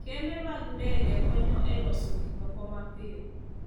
Kembe mag ndege konyo e loso gik moko mapiyo.